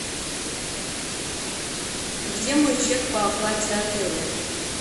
где мой чек по оплате отеля